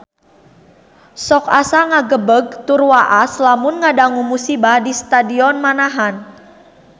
Sok asa ngagebeg tur waas lamun ngadangu musibah di Stadion Manahan